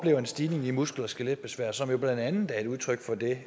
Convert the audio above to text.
er en stigning i muskel og skeletbesvær som jo blandt andet er et udtryk for det